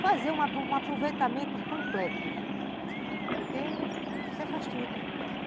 Fazer um aproveitamento completo, porque você faz tudo.